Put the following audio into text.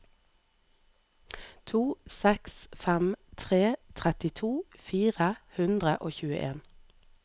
to seks fem tre trettito fire hundre og tjueen